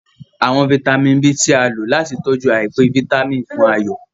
Àwọn vitamin B tí a lò láti tọjú aipe Vitamin fún Ayo.